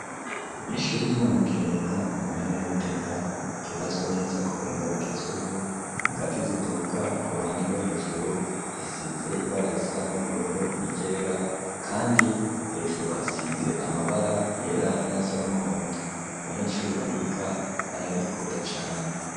Ishuri ry'i Nyamugerera mu ntara ya Gitega, ryubatswe neza k'ubuhinga bugezweho, ingazi ziduga, k'uruhande rwo hejuru hasize ibara risa n'ubururu n'iryera, kandi hejuru hasize amabara yera n'ayasa n'umuhondo, abanyeshuri bahiga bararikunda cane.